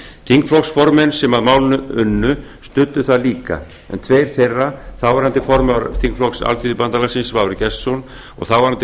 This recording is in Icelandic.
þingflokksformenn sem að málinu unnu studdu það líka en tveir þeirra þáverandi formaður þingflokks alþýðubandalagsins svavar gestsson og þáverandi